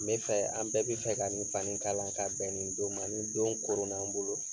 N be fɛ an bɛɛ bi fɛ ka nin fani kalan ka bɛɛn nin don ma. Nin don koronn'an bolo